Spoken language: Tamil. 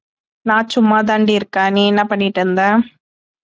நான் சும்மா தாண்டி இருக்கேன் நீ என்ன பண்ணிட்டு இருந்த?